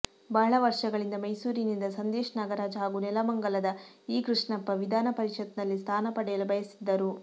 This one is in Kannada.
ಬಹಳ ವರ್ಷಗಳಿಂದ ಮೈಸೂರಿನಿಂದ ಸಂದೇಶ್ ನಾಗರಾಜ್ ಹಾಗೂ ನೆಲಮಂಗಲದ ಇ ಕೃಷ್ಣಪ್ಪ ವಿಧಾನ ಪರಿಷತ್ ನಲ್ಲಿ ಸ್ಥಾನ ಪಡೆಯಲು ಬಯಸಿದ್ದರು